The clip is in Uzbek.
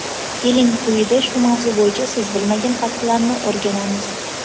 keling quyida shu mavzu bo‘yicha siz bilmagan faktlarni o‘rganamiz.